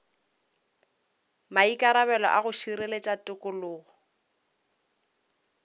maikarabelo a go šireletša tikologo